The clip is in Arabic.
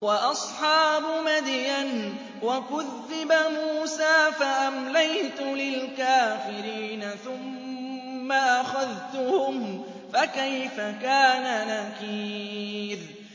وَأَصْحَابُ مَدْيَنَ ۖ وَكُذِّبَ مُوسَىٰ فَأَمْلَيْتُ لِلْكَافِرِينَ ثُمَّ أَخَذْتُهُمْ ۖ فَكَيْفَ كَانَ نَكِيرِ